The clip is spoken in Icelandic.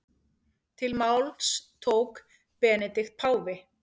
Til máls tók Benedikt páfi.